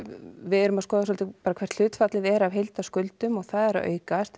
við erum að skoða svolítið hvert hlutfallið er af heildarskuldum og það er að aukast